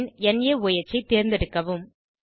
பின் Noah ஐ தேர்ந்தெடுக்கவும்